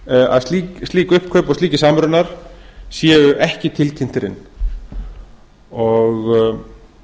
að slík uppkaup og slíkir samrunar séu ekki tilkynntir inn ég